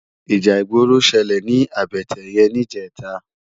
Íjà igbóró ṣëlé ni àbëtè yèn nijètá